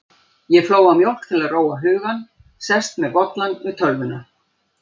Ég flóa mjólk til að róa hugann, sest með bollann við tölvuna.